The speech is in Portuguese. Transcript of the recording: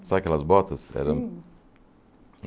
Sabe aquelas botas? Sim Eram